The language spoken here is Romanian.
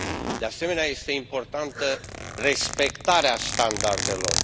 De asemenea, este importantă respectarea standardelor.